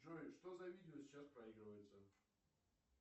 джой что за видео сейчас проигрывается